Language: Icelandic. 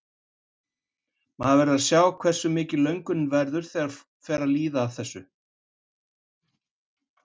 Maður verður að sjá hversu mikil löngunin verður þegar það fer að líða að þessu.